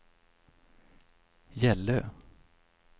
Gällö